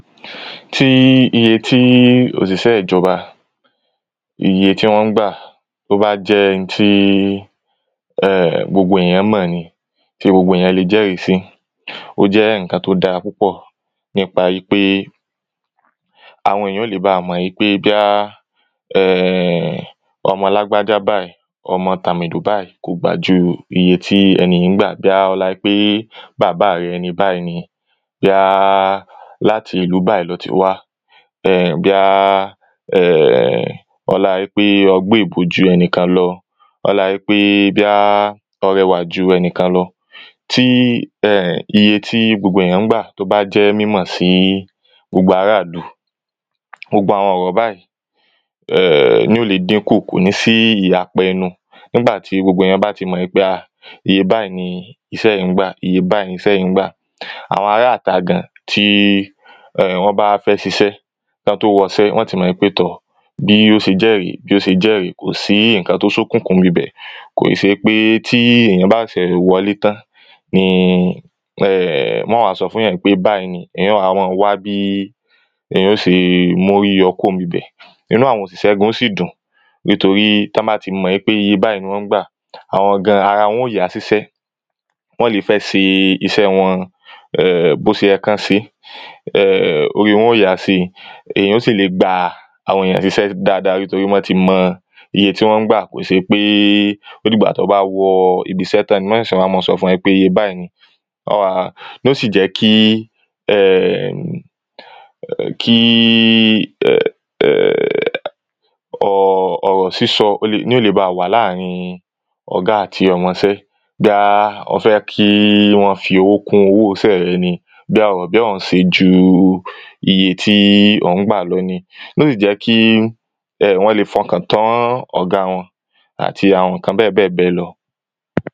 tí iye tí òsìsẹ́ ìjọba, iye tí wọ́n ń gbà, tó bá jẹ́ n tí gbogbo èèyàn mọ̀n ni, tí gbogbo èèyàn le jẹ́rìí sí ó jẹ́ ǹkan tó dára púpọ̀ nípa ípé àwọn èèyàn ó le baà mọ̀n ípé bíyá ọmọ lágbájá báì ọmọ tàmèdò báì kò gbà ju iye tí ẹni yìí ń gbà, bíyá ọláa ípé bàbá rẹ ẹni báì ni bóyá láti ìlú báì lo ti wá, bíyá ọláa ípé ọ gbéèbó ju ẹnìkan lọ ọláa ípé bíyá ọ rẹwà ju ẹnìkan lọ tí iye tí gbogbo ènìyàn ń gbà tó bá jẹ́ mímọ̀ sí gbogbo ará ìlú, gbogbo àwọn ọ̀rọ̀ báì ní ó le díkùn, kò ní sí ìyapa ẹnu nígbà tí gbogbo èèyàn bá ti mọ̀n ìpé iye báìí ní isẹ́ yìí ń gbà, isẹ́ yìí ń gbà, àwọn aráà ta gan tí wọ́n bá fẹ́ ṣiṣẹ́, kán tó wọsẹ́ wọ́n ti mọ̀n ípé tọ̀ bí ó ṣe jẹ́ rèé bí ó ṣe jẹ́ rèé, kò sí ǹkan tó sókùnkùn ńbibẹ̀ kò í ṣe ípé tí èèyàn bá ṣẹ̀ṣẹ̀ wọlé tán ni wọ́n wàá sọ fún yàn pé báì ni èèyàn ó wàá mọ́n wá bí èèyàn ó ṣe móríyọ kúò ńbibẹ̀ inú àwọn òṣìṣẹ́ gan ó sì dùn nítorí tán bá ti mọ̀n ípé iye báìí ní wọ́n ń gbà àwọn gan ara wọ́n ó yá síṣẹ́ wọ́n le fẹ́ ṣe iṣẹ́ẹ wọn bó se yẹ kán ṣeé, orí wọn ó yàá síi, èèyàn ó sì le gba àwọn èèyàn síṣẹ́ dáa dáa nítorí wọn ti mọn iye tí wọ́n ń gbà kò se pé ó dìgbà tán bá wọ ibisẹ́ tán ni mọ́n sẹ̀sẹ̀ wá mọ́n ọn sọ fún wọn pé iye báìí ní wọ́n wàá ní ó sì jẹ́ kí err ọ̀rọ̀ sísọ ní ó le baà wà láàrin ọ̀gá àti ọmọ ṣẹ́ bíá ọ fẹ́ kí wọ́n fi owó kún owó iṣẹ́ rẹ̀ ni bíá ò ń se ju iye tí ò ń gbà lọ ni yóò sì jẹ́ kí wọ́n le fọkàn tán ọ̀ga wọn àti àwọn ǹkan bẹ́ẹ̀ bẹ́ẹ̀ bẹ́ẹ̀ lọ